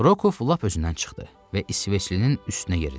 Rokov lap özündən çıxdı və İsveçlinin üstünə yeridi.